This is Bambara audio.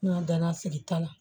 N ka danna sigi ta la